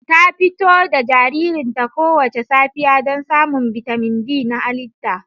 Ta fito da jaririnta kowace safiya don samun bitamin D na halitta